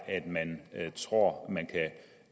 at man tror